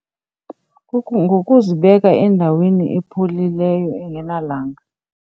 Ngokuzibeke endaweni epholileyo engenalanga.